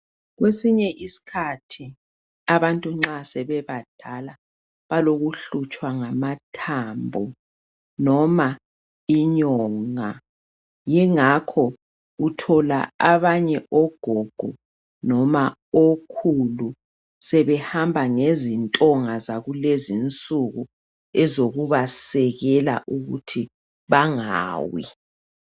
Kwesinye isikhathi abantu nxa sebebadala balokuhlutshwa ngamathambo noma inyonga yingakho uthola abanye ogogo noma okhulu sebehamba ngezintonga zakulezi insuku ezokubasekela ukuthi bangawi